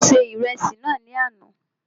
Mo se Ìrẹsì náà ní àná